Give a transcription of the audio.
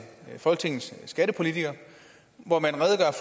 folketingets skattepolitikere hvor man redegør